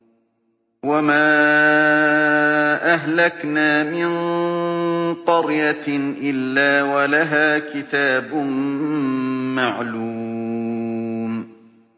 وَمَا أَهْلَكْنَا مِن قَرْيَةٍ إِلَّا وَلَهَا كِتَابٌ مَّعْلُومٌ